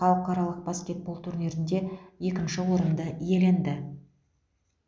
халықаралық баскетбол турнирінде екінші орынды иеленді